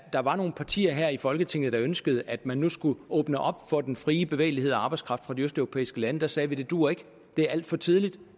der var nogle partier her i folketinget der ønskede at man nu skulle åbne op for den frie bevægelighed og arbejdskraft fra de østeuropæiske lande sagde vi det duer ikke det er alt for tidligt